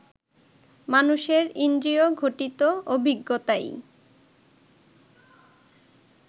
মানুষের ইন্দ্রিয় ঘটিত অভিজ্ঞতাই